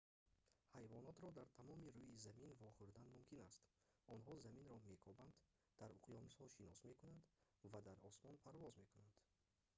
ҳайвонотро дар тамоми рӯи замин вохӯрдан мумкин аст онҳо заминро мекобанд дар уқёнусҳо шино мекунанд ва дар осмон парвоз мекунанд